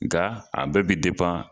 Nka a bɛɛ bi